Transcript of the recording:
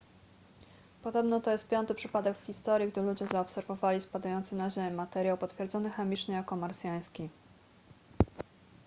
podobno to jest piąty przypadek w historii gdy ludzie zaobserwowali spadający na ziemię materiał potwierdzony chemicznie jako marsjański